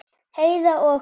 Heiða og